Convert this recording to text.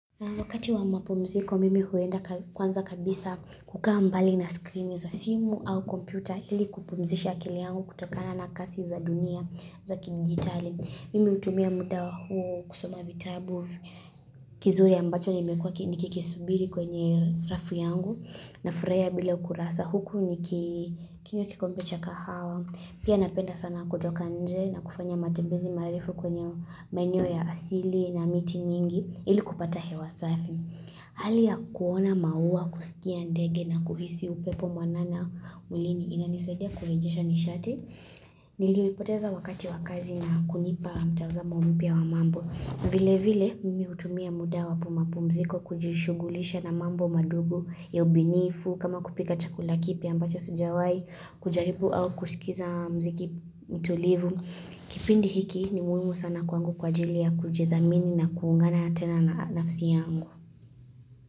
Wakati wa mapumziko, mimi huenda kwanza kabisa kukaa mbali na screen za simu au kompyuta ili kupumzisha akili yangu kutokana na kasi za dunia za kimjitali. Mimi utumia muda huu kusoma vitabu kizuri ambacho nimekuwa nikiki subiri kwenye rafu yangu na furahia bila ukurasa. Sa huku ni kinywa kikombe cha kahawa, pia napenda sana kutoka nje na kufanya matembezi marefu kwenye maeneo ya asili na miti nyingi ili kupata he wa safi. Hali ya kuona maua kusikia ndege na kuhisi upepo mwanana ulini inanisedia kurejisha nishati. Nilio ipoteza wakati wakazi na kunipa mtazamo mpia wa mambo. Vile vile mimi hutumia muda wa pumapumziko kujishugulisha na mambo madogo ya ubinifu, kama kupika chakula kipia ambacho sijawai, kujaribu au kuskiza mziki mitulivu. Kipindi hiki ni muhimu sana kwangu kwa ajili ya kujithamini na kuungana tena na nafsi yangu.